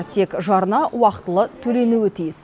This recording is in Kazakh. тек жарна уақытылы төленуі тиіс